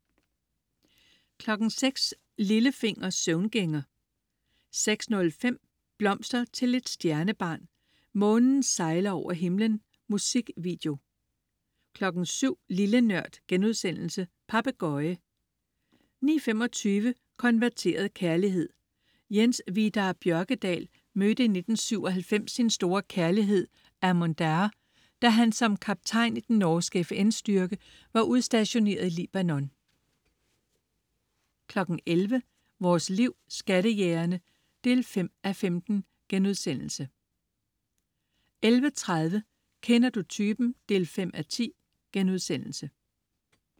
06.00 Lillefinger. Søvngænger 06.05 Blomster til et stjernebarn. Månen sejler over himlen. Musikvideo 07.00 Lille Nørd.* Papegøje 09.25 Konverteret kærlighed. Jens Vidar Bjørkedal mødte i 1997 sin store kærlighed Amon Daher, da han som kaptajn i den norske FN-styrke var udstationeret i Libanon 11.00 Vores Liv. Skattejægerne 5:15* 11.30 Kender du typen? 5:10*